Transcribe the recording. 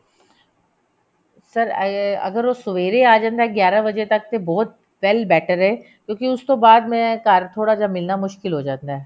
sir ਅਗਰ ਉਹ ਸਵੇਰੇ ਆ ਜਾਂਦਾ ਗਿਆਰਾ ਵਜੇ ਤੱਕ ਤਾਂ ਬਹੁਤ well better ਐ ਕਿਉਂਕਿ ਉਸ ਤੋਂ ਬਾਅਦ ਮੈਂ ਘਰ ਥੋੜਾ ਜਾ ਮਿਲਣਾ ਮੁਸ਼ਕਿਲ ਹੋ ਜਾਂਦਾ